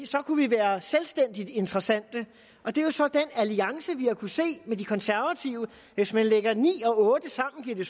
så kunne vi være selvstændigt interessante og det er så den alliance vi har kunnet se med de konservative hvis man lægger ni og otte sammen giver det